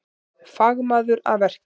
Fagmaður að verki